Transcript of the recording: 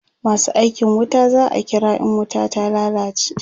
masu aikin wuta za'a kira in wuta ta lallace